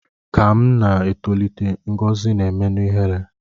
Ka m na-etolite, Ngọzi na-emenụ ihere